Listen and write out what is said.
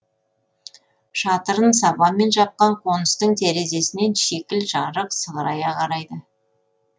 шатырын сабанмен жапқан қоныстың терезесінен шикіл жарық сығырая қарайды